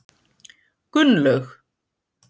Gunnlaug